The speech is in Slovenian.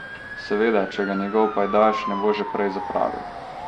Seveda, če ga njegov pajdaš ne bo že prej zapravil.